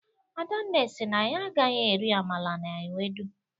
adanne si na ya agaghi eri amala na ewudo